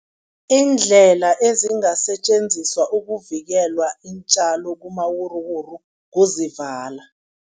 Iindlela ezingasetjenziswa ukuvikela iintjalo kumawuruwuru kuzivala.